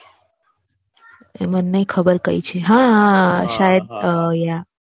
એ મને નાઈ ખબર કઈ છે હા હા શાયદ યા.